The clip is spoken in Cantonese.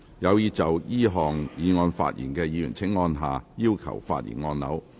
有意就這項議案發言的議員請按下"要求發言"按鈕。